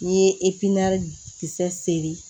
N'i ye kisɛ seri